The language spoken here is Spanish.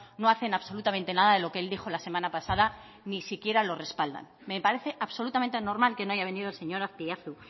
no hacen absolutamente nada de lo que él dijo la semana pasada ni siquiera lo respaldan me parece absolutamente normal que no haya venido el señor azpiazu